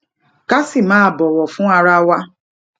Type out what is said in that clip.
ká sì máa bòwò fún ara wa